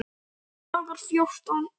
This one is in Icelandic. Dagar fjórtán